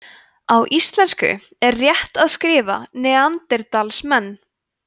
á íslensku er rétt að skrifa neanderdalsmenn